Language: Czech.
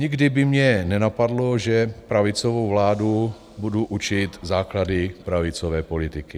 Nikdy by mě nenapadlo, že pravicovou vládu budu učit základy pravicové politiky.